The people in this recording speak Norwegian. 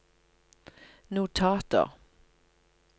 notater